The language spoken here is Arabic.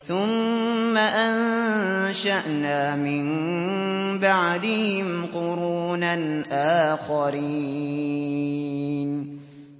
ثُمَّ أَنشَأْنَا مِن بَعْدِهِمْ قُرُونًا آخَرِينَ